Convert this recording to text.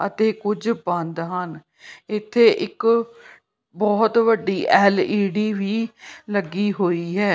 ਅਤੇ ਕੁਝ ਬੰਦ ਹਨ ਇੱਥੇ ਇੱਕ ਬਹੁਤ ਵੱਡੀ ਐਲ ਈ ਡੀ ਵੀ ਲੱਗੀ ਹੋਈ ਹੈ।